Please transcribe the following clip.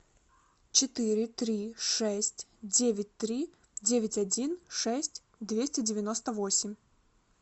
четыре три шесть девять три девять один шесть двести девяносто восемь